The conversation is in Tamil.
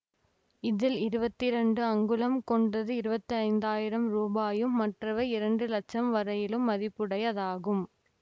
இதில் இருவத்தி இரண்டு அங்குலம் கொண்டது இருவத்தைந்தாயிரம் ரூபாயும் மற்றவை இரண்டு லட்சம் வரையிலும் மதிப்புடைதாகும்